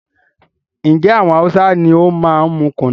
Njé àwọn Hausa ní o máa n mú kùnú?